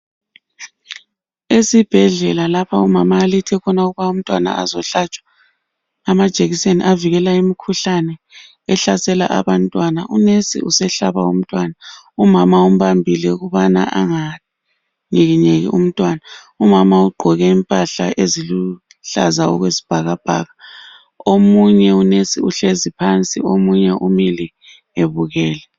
Esibhedlela lapho umama alethe khona ukuba umntwana ukuthi azohlatshwa amajekiseni avikela imikhuhlane ohlasela abantwana unesi usehlaba umntwana umama umbambile ukubana anganyikinyeki umntwana, umama ugqoke impahla eziluhlaza okwesibhakabhaka omunye unesi uhlezi phansi omunye umile ebukele.